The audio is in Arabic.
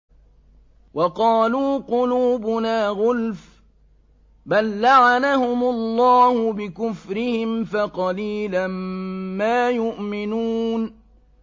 وَقَالُوا قُلُوبُنَا غُلْفٌ ۚ بَل لَّعَنَهُمُ اللَّهُ بِكُفْرِهِمْ فَقَلِيلًا مَّا يُؤْمِنُونَ